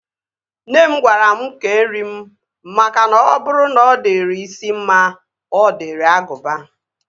Nne m gwara mụ kee nri m makana ọ bụrụ na ọ dịrị isi mma, ọ dịrị agụba